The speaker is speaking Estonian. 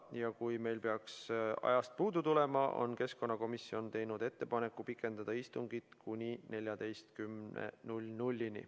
Ja kui meil peaks ajast puudu tulema, on keskkonnakomisjon teinud ettepaneku pikendada istungit kuni 14-ni.